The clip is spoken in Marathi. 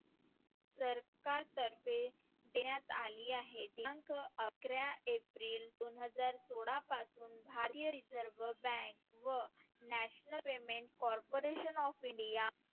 सरकार तर्फे देण्यात आली आहे. दिनांक अकरा एप्रिल दोन हजार सोळा पासून भारतीय reserve reserve Bank व National payment corporation of India